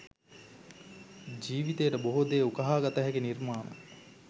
ජීවිතයට බොහෝ දේ උකහා ගතහැකි නිර්මාණ.